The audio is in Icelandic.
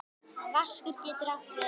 Vaskur getur átt við